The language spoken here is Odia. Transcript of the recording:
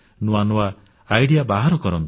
ନୂଆ ନୂଆ କଳ୍ପନାଭାବନା ବାହାର କରନ୍ତୁ